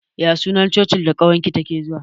Ya sunan Cocin da ƙawar ki take zuwa?